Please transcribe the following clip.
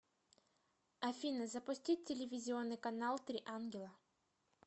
афина запустить телевизионный канал три ангела